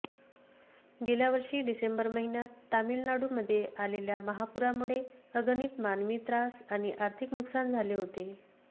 गेल्या वर्षी डिसेंबर महिन्यात तामिळनाडूमध्ये आलेल्या महापुरामुळे अगणित मानवी त्रास आणि आर्थिक नुकसान झाले होते